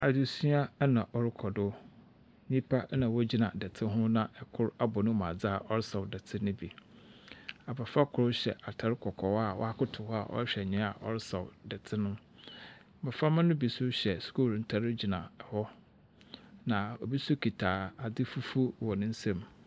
Adzesua na ɔrekɔ do nyipa na wogyina dɛtse ho na ɛkor abɔ nemu adze na ɔresaw dɛtse no bi abofra kor hyɛ atar kɔkɔɔ a wakotow hɔ a ɔrehwɛ nea ɔresaw dɛtse no mmoframa no bi nso hyɛ skuul ntare gyina hɔ na obi so kita adze fufuw wɔ nensam.